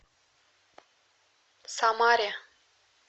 самаре